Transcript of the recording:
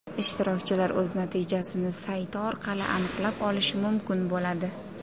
Ishtirokchilar o‘z natijasini sayti orqali aniqlab olishi mumkin bo‘ladi.